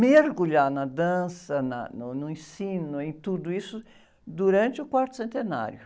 mergulhar na dança, na, no, no ensino, em tudo isso, durante o quarto centenário.